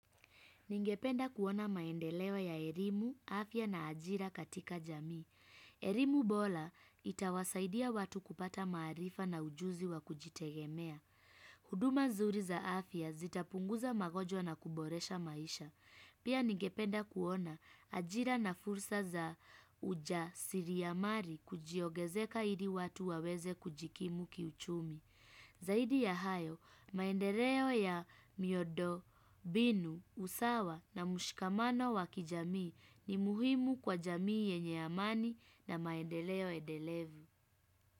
Ningependa kuona maendeleo wa ya erimu, afya na ajira katika jamii. Erimu bola itawasaidia watu kupata maarifa na ujuzi wa kujitegemea. Huduma nzuri za afya zitapunguza magonjwa na kuboresha maisha. Pia ningependa kuona ajira na fursa za ujasiriamali kujiogezeka ili watu waweze kujikimu kiuchumi. Zaidi ya hayo, maendeleo ya miondo, binu, usawa na mshkamano wakijamii ni muhimu kwa jamii yenye amani na maendeleo edelevu.